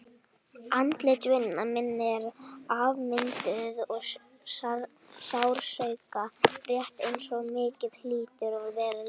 Andlit vina minna eru afmynduð af sársauka, rétt eins og mitt hlýtur að vera líka.